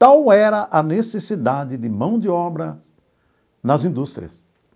Qual era a necessidade de mão de obra nas indústrias.